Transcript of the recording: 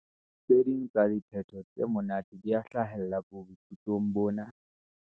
Tse ding tsa diphetho tse monate di a hlahella boithutong bona.